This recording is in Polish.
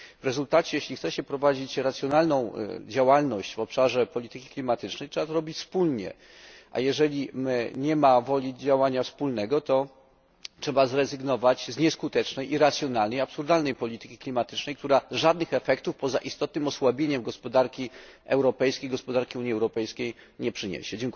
W rezultacie, jeśli chce się prowadzić racjonalną działalność w obszarze polityki klimatycznej, trzeba to robić wspólnie, a jeżeli nie ma woli działania wspólnego, to trzeba zrezygnować z nieskutecznej, irracjonalnej, absurdalnej polityki klimatycznej, która żadnych efektów poza istotnym osłabieniem gospodarki europejskiej gospodarki Unii Europejskiej nie przyniesie.